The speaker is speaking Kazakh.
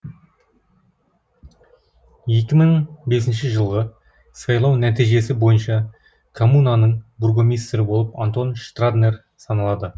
екі мың бесінші жылғы сайлау нәтижесі бойынша коммунаның бургомистрі болып антон штраднер саналады